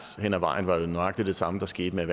hen ad vejen vejen nøjagtig det samme der skete med